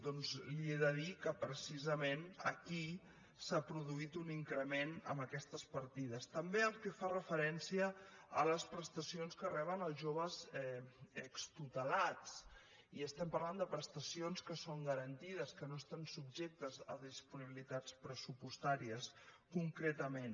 doncs li he de dir que precisament aquí s’ha produït un increment en aquestes partides també pel que fa referència a les prestacions que reben els joves extutelats i estem parlant de prestacions que són garantides que no estan subjectes a disponibilitats pressupostàries concretament